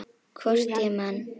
Hvort ég man.